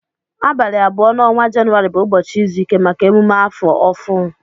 Abali abụọ na ọnwa jauary bu ụbọchi izụike maka emume afọọ ọhụ.